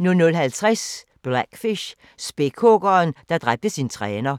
00:50: Blackfish – Spækhuggeren, der dræbte sin træner